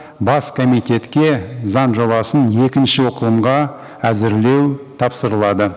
бас комитетке заң жобасын екінші оқылымға әзірлеу тапсырылады